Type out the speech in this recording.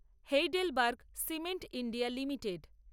Heidelberg Cement India limited